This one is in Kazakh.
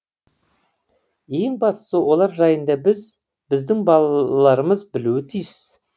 ең бастысы олар жайында біз біздің балаларымыз білуі тиіс